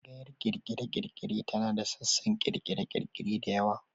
Tsangayar ƙirƙire-ƙirƙire tana da sassan ƙirƙire-ƙirƙire da yawa.